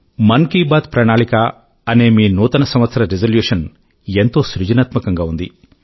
మన్ కీ బాత్ ప్రణాళిక అనే మీ నూతన సంవత్సర రిజల్యూషన్ ఎంతో సృజనాత్మకం గా ఉంది